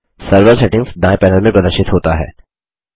server settings दायें panel में प्रदर्शित होता है